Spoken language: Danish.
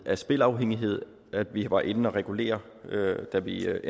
af spilafhængighed at vi var inde og regulere da vi lavede